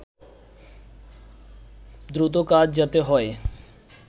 দ্রুত কাজ যাতে হয়